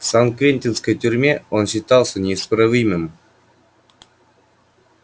в сан-квентинской тюрьме он считался неисправимым